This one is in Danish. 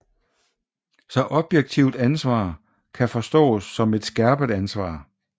Så objektivt ansvar kan forstås som et skærpet ansvar